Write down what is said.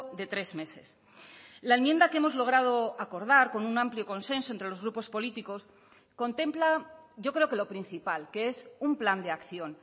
de tres meses la enmienda que hemos logrado acordar con un amplio consenso entre los grupos políticos contempla yo creo que lo principal que es un plan de acción